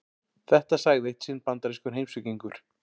Þetta sagði eitt sinn bandarískur heimspekingur.